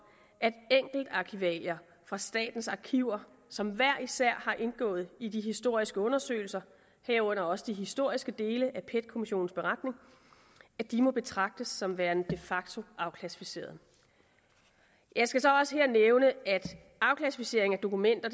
at enkeltarkivalier fra statens arkiver som hver især har indgået i de historiske undersøgelser herunder også de historiske dele af pet kommissionens beretning må betragtes som værende de facto afklassificerede jeg skal så også her nævne at afklassificering af dokumenter